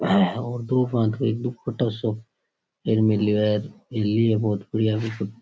और दो भांत को एक दुपट्टा सो एक मिलियो है पुलिया के ऊपर --